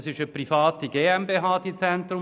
Das Zentrum Bäregg ist